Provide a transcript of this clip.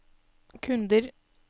kunder